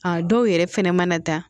A dɔw yɛrɛ fɛnɛ mana da